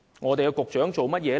我們的局長做了甚麼？